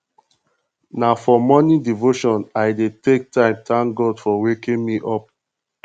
na for morning devotion i dey take time tank god for waking me up